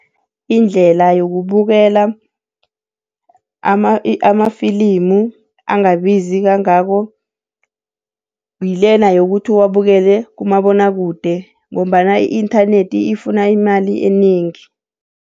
Indlela yokubukela amafilimu angabizi kangako, ngilena yokuthi uwabukele kumabonwakude ngombana i-inthanethi ifuna imali enengi.